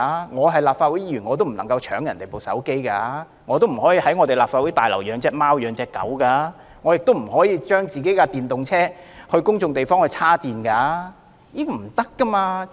我們身為立法會議員，也不能搶別人的手機，不可以在立法會大樓內飼養貓狗，亦不可以在公眾地方為自己的電動車充電。